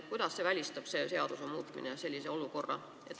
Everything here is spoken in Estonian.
Kuidas see seaduse muutmine sellise olukorra välistab?